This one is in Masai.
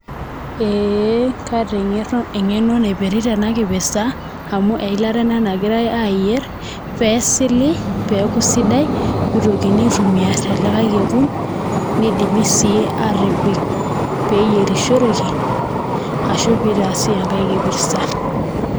Eh kaata engeno napirita ena kipeta amu eilata ena nagirae ayier peyie esili pee eaku sidai pee itokini aitumia te likae kekun nidim sii atipik peeyierishoreki ashu pee itaasi ekae kipirta.